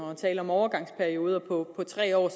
og tale om overgangsperioder på tre år